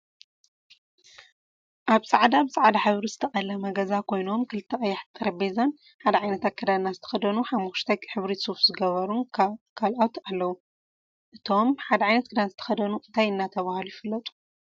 ኣብ ፃዕዳ ብፃዕዳ ሕብሪ ዝተቀለመ ገዛ ኮይኖም ክልተ ቀያሕቲ ጠረጴዛን ሓደ ዓይነት ኣከዳድና ዝተከደኑን ሓሞክሽታይ ሕብሪ ሱፍ ዝገበሩን ካልኣት ኣለው። እቶም ሓደ ዓይነት ክዳን ዘተከደኑ እንታይ እናተባህሉ ይፍለጡ?